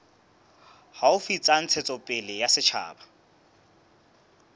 haufi tsa ntshetsopele ya setjhaba